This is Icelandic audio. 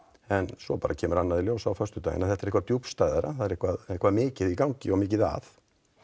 en svo kemur annað í ljós á föstudaginn þetta er eitthvað djúpstæðara það er eitthvað eitthvað mikið í gangi og mikið að